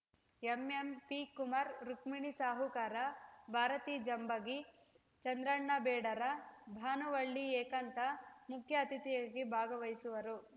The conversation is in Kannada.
ಎಂಎಂಪಿ ಕುಮಾರ ರುಕ್ಮಿಣಿ ಸಾಹುಕಾರ ಭಾರತಿ ಜಂಬಗಿ ಚಂದ್ರಣ್ಣ ಬೇಡರ ಭಾನುವಳ್ಳಿ ಏಕಾಂತ ಮುಖ್ಯ ಅತಿಥಿಯಾಗಿ ಭಾಗವಹಿಸುವರು